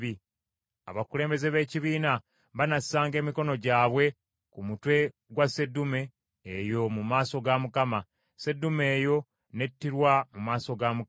Abakulembeze b’ekibiina banassanga emikono gyabwe ku mutwe gwa sseddume eyo mu maaso ga Mukama , sseddume eyo n’ettirwa mu maaso ga Mukama .